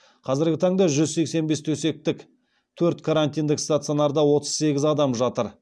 қазіргі таңда жүз сексен бес төсектік төрт карантиндік стационарда отыз сегіз адам жатыр